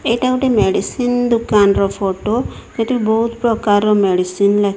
ଏଇଟା ଗୋଟେ ମେଡିସିନ ଦୋକାନର ଫୋଟ ସେଟି ବହୁତ ପ୍ରକାରର ଲେ --